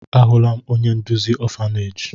Ahụla m onye nduzi ọfaneeji.